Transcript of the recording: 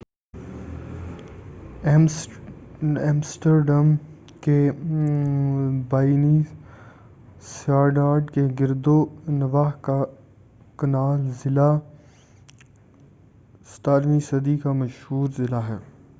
Amsterdam کے بائنیںسٹاڈ کے گرد نواح کا کنال ضلع ڈچ: گریچٹینگورڈیل 17ویں صدی کا مشہور ضلع ہے-